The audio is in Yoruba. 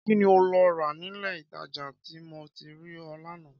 Kí ni o lọ rà nílé-ìtajà tí mo ti rí ọ lánàá?